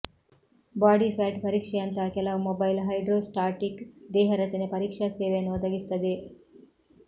body fat ಪರೀಕ್ಷೆಯಂತಹ ಕೆಲವು mobile hydrostatic ದೇಹ ರಚನೆ ಪರೀಕ್ಷಾ ಸೇವೆಯನ್ನು ಒದಗಿಸುತ್ತದೆ